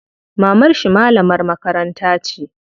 Mamarshi malamar makaranta ce.